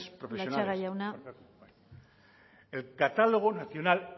joan latxaga jauna barkatu bai el catálogo nacional